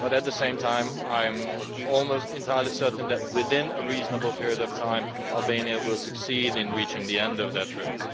But at the same time I am almost entirely certain that within a reasonable period of time Albania will succeed in reaching the end of that road.